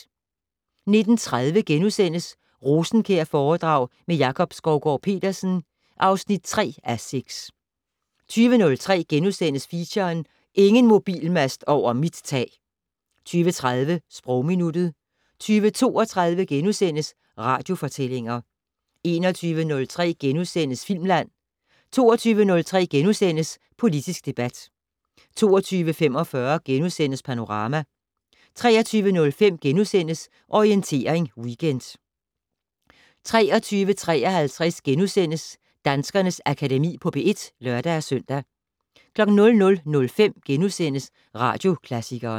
19:30: Rosenkjærforedrag med Jakob Skovgaard-Petersen (3:6)* 20:03: Feature: Ingen mobilmast over mit tag! * 20:30: Sprogminuttet 20:32: Radiofortællinger * 21:03: Filmland * 22:03: Politisk debat * 22:45: Panorama * 23:05: Orientering Weekend * 23:53: Danskernes Akademi på P1 *(lør-søn) 00:05: Radioklassikeren *